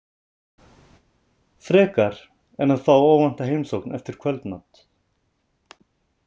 Frekar en að fá óvænta heimsókn eftir kvöldmat.